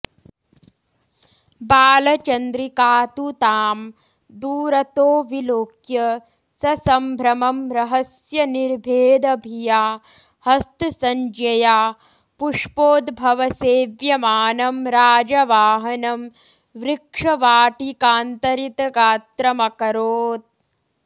बालचन्द्रिका तु तां दूरतो विलोक्य ससम्भ्रमं रहस्यनिर्भेदभिया हस्तसंज्ञया पुष्पोद्भवसेव्यमानं राजवाहनं वृक्षवाटिकान्तरितगात्रमकरोत्